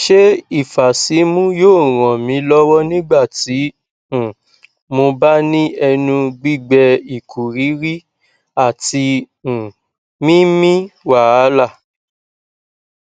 se ifasimu yoo ran mi lowo nigbati um mo ba ni enu gbigbeikuriri ati um mimi wahala